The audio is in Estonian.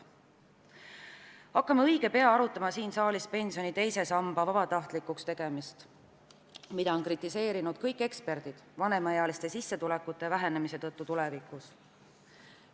Hakkame õige pea siin saalis arutama pensioni teise samba vabatahtlikuks tegemist, mida on kõik eksperdid kritiseerinud vanemaealiste sissetulekute vähenemise tõttu tulevikus.